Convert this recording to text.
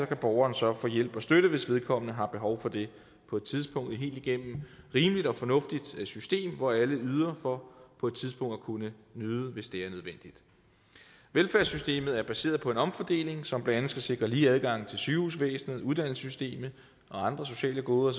kan borgeren så få hjælp og støtte hvis vedkommende har behov for det på et tidspunkt et helt igennem rimeligt og fornuftigt system hvor alle yder for på et tidspunkt at kunne nyde hvis det er nødvendigt velfærdssystemet er baseret på en omfordeling som blandt andet skal sikre lige adgang til sygehusvæsenet og uddannelsessystemet og andre sociale goder og